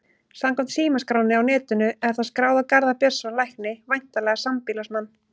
Samkvæmt símaskránni á netinu er það skráð á Garðar Björnsson lækni, væntanlega sambýlismann